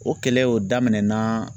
O kɛlɛw daminɛna